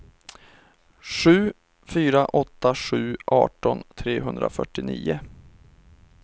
sju fyra åtta sju arton trehundrafyrtionio